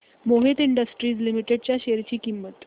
Mohit Industries Limited च्या share ची किंमत